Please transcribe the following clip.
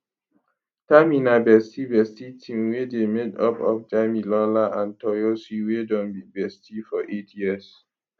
tami na bestie bestie team wey dey made up of damilola and toyosi wey don be bestie for eight years